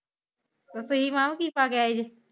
ਹੁਣ ਤੁਸੀਂ ਵਹਾ ਕੀ ਪਾਕੇ ਆਏ ਜੇ?